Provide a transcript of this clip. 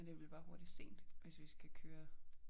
Men det bliver bare hurtigt sent hvis vi skal køre